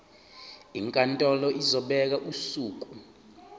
inkantolo izobeka usuku